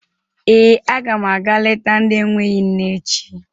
Ee, aga m aga leta ndị enweghi nne echi.